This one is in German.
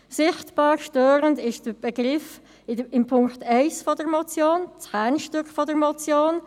Sichtbar störend ist der Begriff in Punkt 1 der Motion, dem Kernstück der Motion.